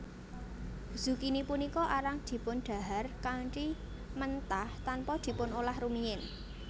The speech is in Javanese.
Zukini punika arang dipundhahar kanthi mentah tanpa dipunolah rumiyin